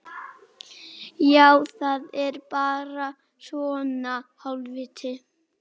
Já, það er bara svona.